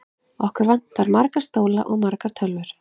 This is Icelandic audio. Okkur vantar marga stóla og margar tölvur.